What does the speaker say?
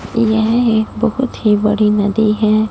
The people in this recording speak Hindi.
यह एक बहुत ही बड़ी नदी है।